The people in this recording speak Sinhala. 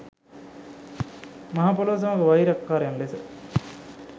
මහ පොළොව සමග වෛරක්කාරයන් ලෙස